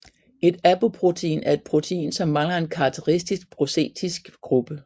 Et apoprotein er et protein som mangler en karakteristisk prostetisk gruppe